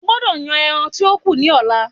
Ó gbọdọ̀ yan ẹran tí ó kù ní ọ̀la.